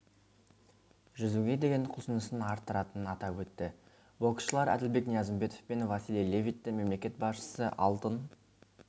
жүзуге деген құлшынысын арттыратынын атап өтті боксшылар әділбек ниязымбетов пен василий левитті мемлекет басшысы алтын